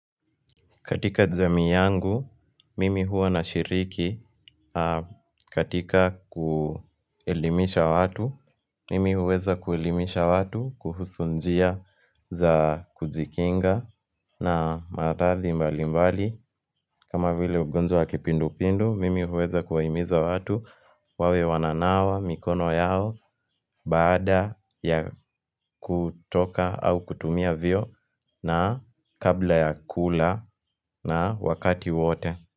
Katika jamii yangu, mimi huwa na shiriki katika kuelimisha watu, mimi huweza kuelimisha watu, kuhusu njia za kujikinga na maradhi mbali mbali. Kama vile ugonjwa wa kipindu pindu, mimi huweza kuwaimiza watu wawe wananawa, mikono yao, baada ya kutoka au kutumia vio na kabla ya kula na wakati wote.